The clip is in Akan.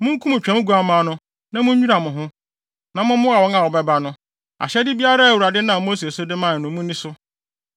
Munkum Twam nguamma no, na munnwira mo ho, na mommoa wɔn a wɔbɛba no. Ahyɛde biara a Awurade nam Mose so de mae no, munni so.”